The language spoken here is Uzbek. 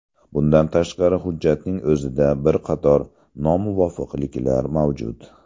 Bundan tashqari, hujjatning o‘zida bir qator nomuvofiqliklar mavjud.